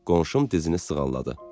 Qonşum dizini sığalladı.